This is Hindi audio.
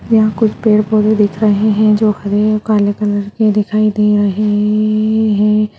यहाँ कुछ पेड़ पौधे दिख रहे है जो हरे और काले कलर की दिखाई दे रहे है।